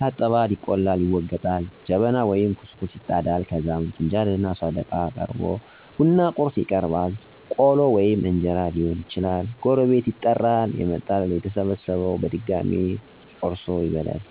ይታጠባል፣ ይቆላል፣ ይወገጣል፣ ጀበና ወይም ኩስኩስት ይጣዳል ከዛም ፍንጃልና ሰደቃ ይቀራርባል፣ ቡና ቁርስ ይቀርባል ቆሎ ወይም እንጀራ ሊሆን ይችላል፤ ጎረቤት ይጠራል የመጣል፤ ከተሰበሰበው ሠዉ በድሜ ትልቁ ተመርጦ የቡና ቁርሡን ይቆርሣል ለሌላው ሠው ይሠጣል። የተለያዩ ወቅታዊ ወሬዎችን እያወራ እስከ ሶስተኛው ወይንም አቦል፣ ቶና በረካ እስከሚባለው ይፈላል። መጨረሻ ላይ ይመረቀል በዕድሜ ከትንሹ ወደ ትልቁ በቅደም ተከተል ከዛ ይበተናል ሰው።